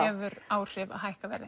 hefur áhrif að hækka verð